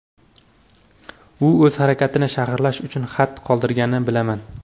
U o‘z harakatini sharhlash uchun xat qoldirganini bilaman.